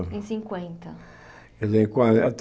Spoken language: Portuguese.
Em cinquenta Quer dizer em quarenta